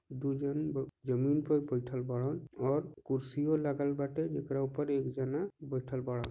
दु जन जमीन पर बैठल बडन और कुर्सीयो लागल बाटे जेक्रा ऊपर एक जना बैठल बड़ा।